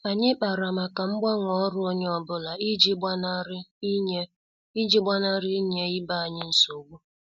Anyị kpara màkà mgbanwe ọrụ onye ọ bụla iji gbanari inye iji gbanari inye ibe anyị nsogbu.